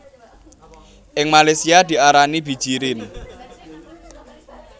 Ing Malaysia diarani bijirin